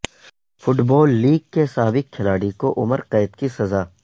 football league کے سابق کھلاڑی کو عمر قید کی سزا